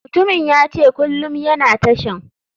Mutumin yace kulum yana tashan.